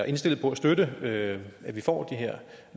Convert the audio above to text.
indstillet på at støtte at at vi får de her